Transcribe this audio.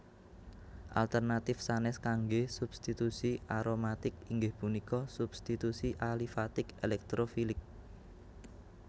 Alternatif sanes kangge substitusi aromatik inggih punika substitusi alifatik elektrofilik